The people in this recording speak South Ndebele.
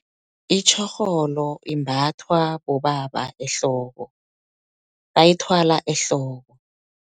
Itjhorholo, imbathwa bobaba ehloko, bayithwala ehloko.